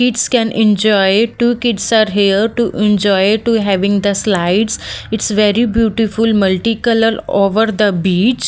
kids can enjoy two kids are here to enjoy to having the slides it's very beautiful multicolour over the beach.